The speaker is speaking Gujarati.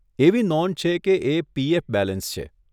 એવી નોંધ છે કે એ પીએફ બેલેન્સ છે.